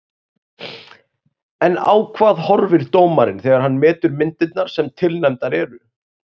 En á hvað horfir dómarinn þegar hann metur myndirnar sem tilnefndar eru?